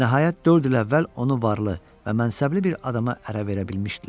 Nəhayət dörd il əvvəl onu varlı və mənsəbli bir adama ərə verə bilmişdilər.